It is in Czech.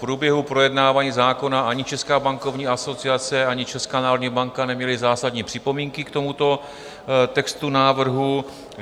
V průběhu projednávání zákona ani Česká bankovní asociace, ani Česká národní banka neměly zásadní připomínky k tomuto textu návrhu.